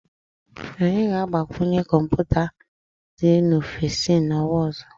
Anyị ga agbanwe kọmputa dị n'ofisi na-onwa ọzọ